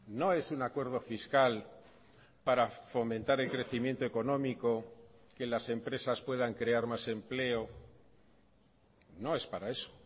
no es un acuerdo fiscal para fomentar el crecimiento económico que las empresas puedan crear más empleo no es para eso